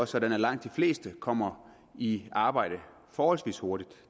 sådan at langt de fleste kommer i arbejde forholdsvis hurtigt